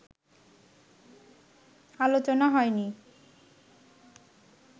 আলোচনা হয়নি